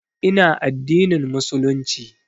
Ina addinin Musulunci